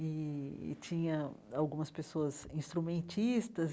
E e tinha algumas pessoas instrumentistas,